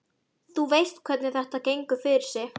Þú veist hvernig þetta gengur fyrir sig.